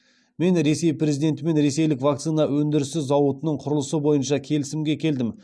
мен ресей президентімен ресейлік вакцина өндірісі зауытының құрылысы бойынша келісімге келдім